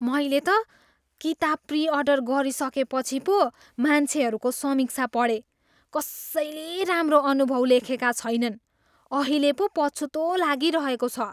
मैले त किताब प्री अर्डर गरिसकेपछि पो मान्छेहरूको समीक्षा पढेँ। कसैले राम्रो अनुभव लेखेका छैनन्! अहिले पो पछुतो लागिरहेको छ।